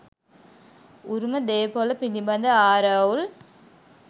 උරුම දේපොල පිළිබඳ ආරවුල්